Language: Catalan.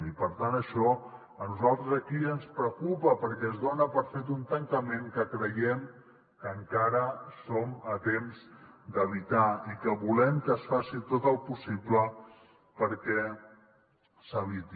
i per tant això a nosaltres aquí ens preocupa perquè es dona per fet un tancament que creiem que encara som a temps d’evitar i que volem que es faci tot el possible perquè s’eviti